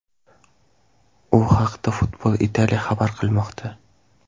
U haqda Football Italia xabar qilmoqda .